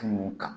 Kunun kan